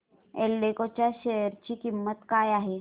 एल्डेको च्या शेअर ची किंमत काय आहे